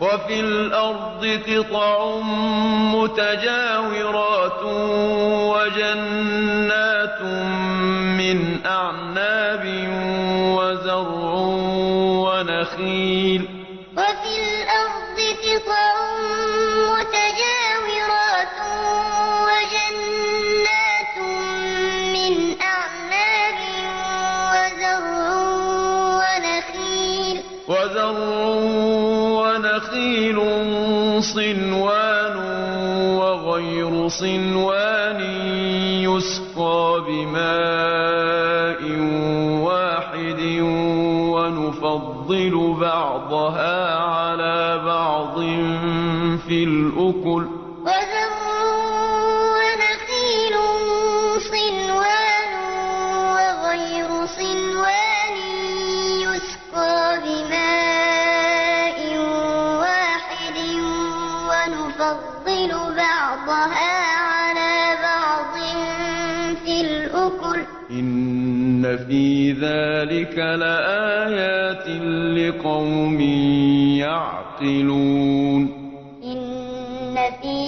وَفِي الْأَرْضِ قِطَعٌ مُّتَجَاوِرَاتٌ وَجَنَّاتٌ مِّنْ أَعْنَابٍ وَزَرْعٌ وَنَخِيلٌ صِنْوَانٌ وَغَيْرُ صِنْوَانٍ يُسْقَىٰ بِمَاءٍ وَاحِدٍ وَنُفَضِّلُ بَعْضَهَا عَلَىٰ بَعْضٍ فِي الْأُكُلِ ۚ إِنَّ فِي ذَٰلِكَ لَآيَاتٍ لِّقَوْمٍ يَعْقِلُونَ وَفِي الْأَرْضِ قِطَعٌ مُّتَجَاوِرَاتٌ وَجَنَّاتٌ مِّنْ أَعْنَابٍ وَزَرْعٌ وَنَخِيلٌ